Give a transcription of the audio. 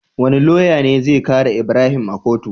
Wane loya ne zai kare ibrahim a kotu?